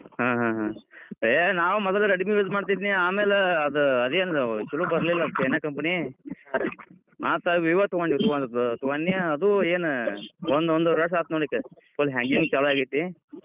ಹಹಾಹಾ. ಏ ನಾ ಮೊದಲ Redmi use ಮಾಡತಿದ್ನಿ. ಆದೇನಛಲೋ ಬರ್ಲಿಲ್ಲ, China company , ಮತ್ Vivo ತೊಗೊಂದ್ವಿ ತೊಗೊಂಡ್ನಿ. ಅದೂ ಏನ್ ಒಂದ್ ಒಂದುವರಿ ವರ್ಷ ಆತ್ನೋಡ್ ಈಗ ಮತ್ hanging ಛಲೂ ಆಗೇತಿ.